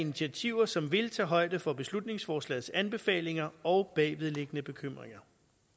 initiativer som vil tage højde for beslutningsforslagets anbefalinger og bagvedliggende bekymringer